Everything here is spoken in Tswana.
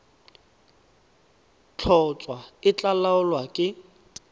tlhotlhwa e tla laolwa ke